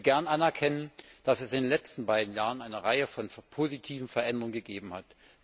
Ich will gern anerkennen, dass es in den letzten beiden Jahren eine Reihe von positiven Veränderungen gegeben hat.